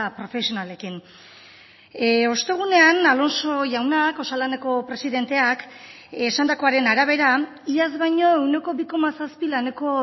profesionalekin ostegunean alonso jaunak osalaneko presidenteak esandakoaren arabera iaz baino ehuneko bi koma zazpi laneko